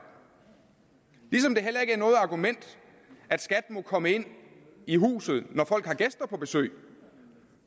ligesom det heller ikke er noget argument at skat må komme ind i huset når folk har gæster på besøg